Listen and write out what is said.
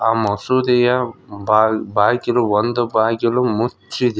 ಆ ಮಸೀದಿಯ ಬಾಲ್ ಬಾಗಿಲು ಒಂದು ಬಾಗಿಲು ಮುಚ್ಚಿದೆ.